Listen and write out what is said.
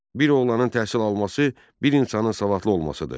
Bir oğlanın təhsil alması bir insanın savadlı olmasıdır.